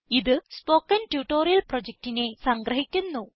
ഇത് spoken tutorial പ്രൊജക്റ്റിനെ സംഗ്രഹിക്കുന്നു